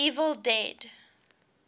evil dead